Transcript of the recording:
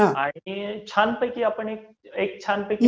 आणि छानपैकी आपण एक छान पैकी